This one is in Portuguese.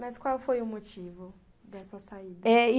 Mas qual foi o motivo dessa saída?